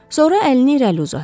Sonra əlini irəli uzatdı.